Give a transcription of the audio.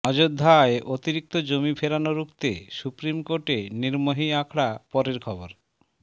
অযোধ্যায় অতিরিক্ত জমি ফেরানো রুখতে সুপ্রিম কোর্টে নির্মোহী আখড়া পরের খবর